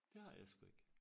Det har jeg sgu ik